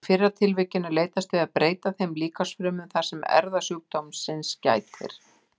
Í fyrra tilvikinu er leitast við að breyta þeim líkamsfrumum þar sem erfðasjúkdómsins gætir.